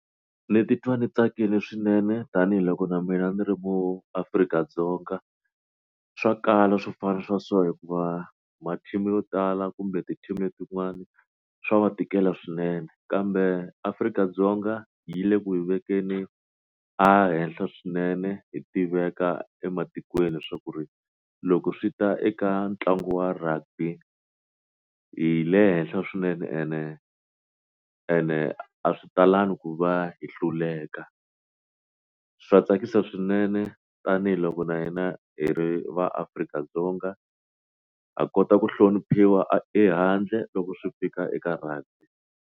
Ndzi titwa ndzi tsakile swinene tanihiloko na mina ndzi ri muAfrika-Dzonga swa kala swofana swa so hikuva ma team yo tala kumbe ti team letiwani swa va tikela swinene kambe Afrika-Dzonga yi le ku hi vekeni a henhla swinene hi tiveka ematikweni leswaku ri loko swi ta eka ntlangu wa rugby hi le henhla swinene ene ene a swi talangi ku va hi hluleka swa tsakisa swinene tanihiloko na hina hi ri va Afrika-Dzonga ha kota ku hloniphiwa ehandle loko swi fika eka rugby.